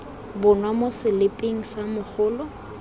bonwa mo seliping sa mogolo